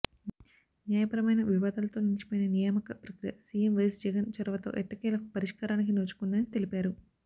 న్యాయపరమైన వివాదాలతో నిలిచిపోయిన నియామక ప్రక్రియ సీఎం వైఎస్ జగన్ చొరవతో ఎట్టకేలకు పరిష్కారానికి నోచుకుందని తెలిపారు